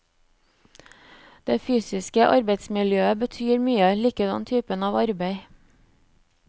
Det fysiske arbeidsmiljøet betyr mye, likedan typen av arbeid.